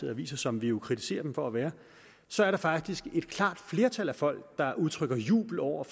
aviser som vi jo kritiserer den for at være så er der faktisk et klart flertal af folk der udtrykker jubel over